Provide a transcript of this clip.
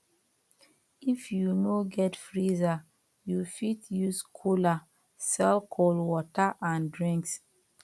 if you no get freezer you fit use cooler sell cold water and drinks